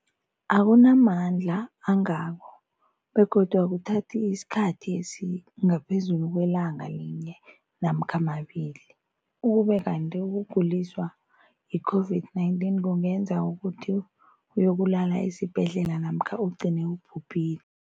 akuna mandla angako begodu akuthathi isikhathi esingaphezulu kwelanga linye namkha mabili, ukube kanti ukuguliswa yi-COVID-19 kungenza ukuthi uyokulala esibhedlela namkha ugcine ubhubhile.